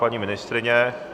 Paní ministryně?